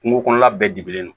Kungo kɔnɔla bɛɛ dibilen don